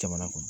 Jamana kɔnɔ